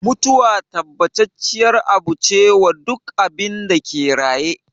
Mutuwa tabbacacciyar abu ce wa duk abinda ke raye